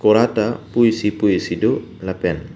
kora ta pu isi pu isi do lapen--